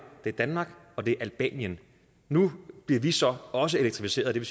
det er danmark og det er albanien nu bliver vi så også elektrificeret og det